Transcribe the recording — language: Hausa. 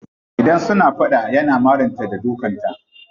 Idan suna fada yana marin ta da dukan ta.